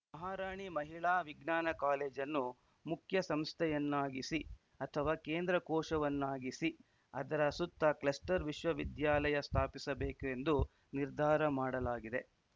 ಮಹಾರಾಣಿ ಮಹಿಳಾ ವಿಜ್ಞಾನ ಕಾಲೇಜನ್ನು ಮುಖ್ಯಸಂಸ್ಥೆಯನ್ನಾಗಿಸಿ ಅಥವಾ ಕೇಂದ್ರ ಕೋಶವನ್ನಾಗಿಸಿ ಅದರ ಸುತ್ತ ಕ್ಲಸ್ಟರ್‌ ವಿಶ್ವವಿದ್ಯಾಲಯ ಸ್ಥಾಪಿಸಬೇಕು ಎಂದು ನಿರ್ಧಾರ ಮಾಡಲಾಗಿದೆ